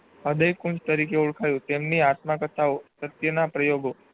હૃદય કુંજ તરીકે ઓળખ્યું તેમની આત્મકર્તા ઓ પ્રત્યેના પ્રયોગો